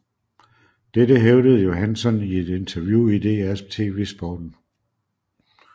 Dette hævdede Johansson i et interview i DR TV Sporten